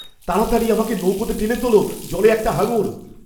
তাড়াতাড়ি আমাকে নৌকাতে টেনে তোলো, জলে একটা হাঙর!